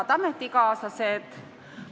Head ametikaaslased!